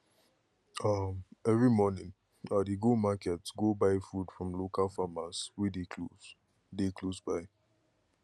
um every morning i dey go market go buy food from local farmers wey dey close dey close by